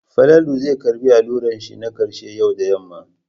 Falalu zai karɓi allurar shi na ƙarshe yau da yamma.